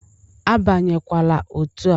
Abanyekwala otu a!